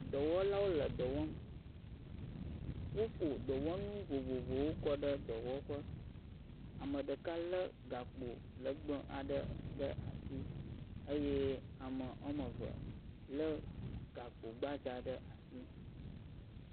Dɔwɔlawo le dɔ wɔm, woɖo dɔwɔnu vovovowo kɔɖe dɔwɔƒe, ameɖeka le gakpo legbe aɖe ɖe asi eye ame woameve le gakpo gbadza ɖe asi.